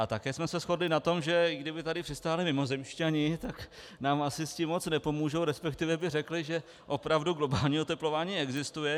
A také jsme se shodli na tom, že i kdyby tady přistáli mimozemšťané, tak nám asi s tím moc nepomůžou, respektive by řekli, že opravdu globální oteplování existuje.